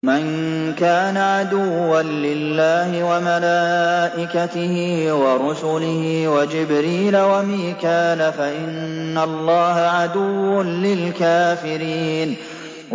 مَن كَانَ عَدُوًّا لِّلَّهِ وَمَلَائِكَتِهِ وَرُسُلِهِ وَجِبْرِيلَ وَمِيكَالَ فَإِنَّ اللَّهَ عَدُوٌّ لِّلْكَافِرِينَ